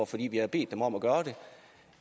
fordi vi har bedt dem om at gøre det